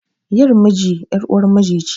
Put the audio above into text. Yar miji ƴar uwar miji ce